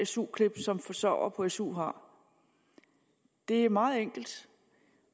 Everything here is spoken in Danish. su klip som forsørgere på su har det er meget enkelt